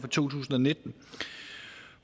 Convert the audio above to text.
tusind og nitten